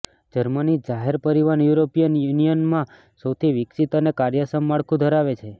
Germany જાહેર પરિવહન European યુનિયનમાં સૌથી વિકસિત અને કાર્યક્ષમ માળખું ધરાવે છે